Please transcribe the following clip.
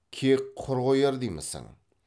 кек құр қояр деймісің